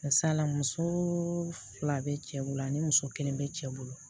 Masala muso fila bɛ cɛ bolo ani muso kelen bɛ cɛ bolo